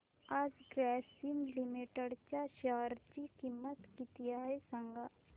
आज ग्रासीम लिमिटेड च्या शेअर ची किंमत किती आहे सांगा